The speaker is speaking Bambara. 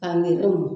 A nɛgɛn